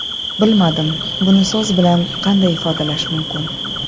Bilmadim, buni so‘z bilan qanday ifodalash mumkin.